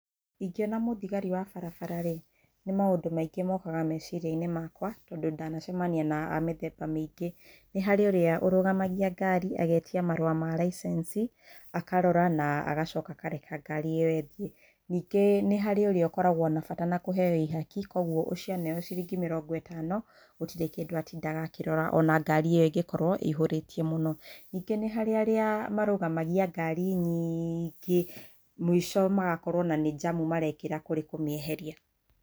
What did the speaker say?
Ingĩona mũthigari wa barabara rĩ, nĩ maũndũ maingĩ mokaga mecirianĩ makwa tondũ ndanacemania na a mĩthemba mĩingĩ. Nĩ harĩ ũrĩa ũrũgamagia ngari agetia marũa ma licence akarora na agacoka akareka ngari ĩyo ĩthiĩ. Ningĩ nĩ harĩ na ũrĩa ũkoragwo na bata na kũheo ihaki ũguo ũco aneo ciringi mĩrongo ĩtano gũtirĩ kĩndũ atindaga akĩrora ona ngari ĩyo ingĩkorwo ĩihũrĩtio mũno. Ningĩ nĩharĩ arĩa marũgamagia ngari nyingĩ mũico magakorwo ona nĩ njamu marekĩra kũrĩ kũmĩeheria.